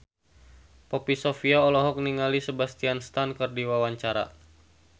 Poppy Sovia olohok ningali Sebastian Stan keur diwawancara